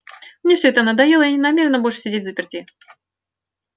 мне всё это надоело я не намерена больше сидеть взаперти